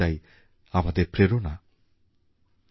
শিল্পায়নের এই জোয়ার শহর থেকেই উঠবে বলে মনে করতেন ডক্টর আম্বেদকর